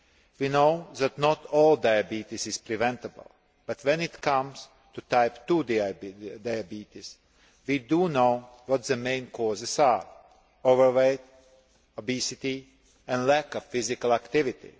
We know that not all diabetes is preventable, but when it comes to Type 2 diabetes, we do know what the main causes are being overweight, obesity and a lack of physical activity.